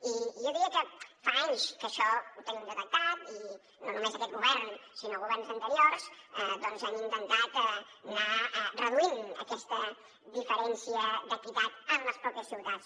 i jo diria que fa anys que això ho tenim detectat i no només aquest govern sinó governs anteriors han intentat anar reduint aquesta diferència d’equitat en les mateixes ciutats